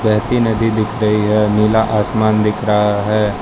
बहती नदी दिख रही है नीला आसमान दिख रहा है।